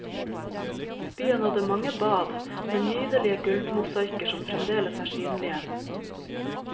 Byen hadde mange bad, med nydelige gulvmosaikker som fremdeles er synlige.